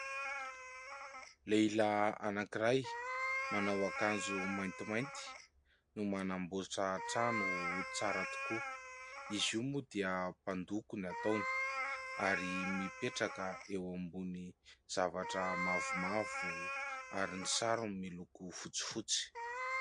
Lehilahy anankiray manao akanjo maintimainty no manamboatra trano ho tsara tokoa, izy io moa dia mpandoko ny ataony ary mipetraka eo ambony zavatra mavomavo ary ny sarony miloko fotsifotsy.